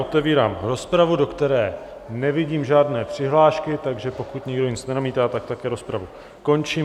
Otevírám rozpravu, do které nevidím žádné přihlášky, takže pokud nikdo nic nenamítá, tak také rozpravu končím.